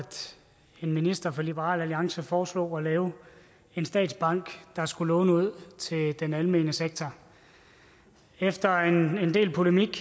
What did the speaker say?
en minister fra liberal alliance foreslog at lave en statsbank der skulle låne ud til den almene sektor efter en del polemik